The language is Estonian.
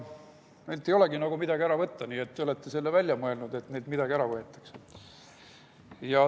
Neilt ei olegi nagu midagi ära võtta, te olete selle välja mõelnud, et neilt midagi ära võetakse.